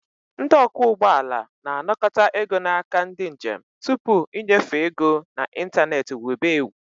Ndị ọkwọ ụgbọala na-anakọta ego n'aka ndị njem tupu ịnyefe ego na ịntanetị wube ewu